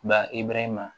Ba ibɛrɛhe ma